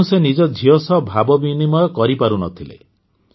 ତେଣୁ ସେ ନିଜ ଝିଅ ସହ ଭାବବିନିମୟ କରିପାରୁନଥିଲେ